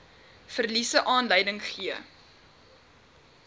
verliese aanleiding gegee